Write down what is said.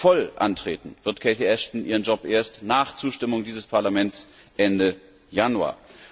Voll antreten wird Cathy Ashton ihren Job erst nach Zustimmung dieses Parlaments Ende Januar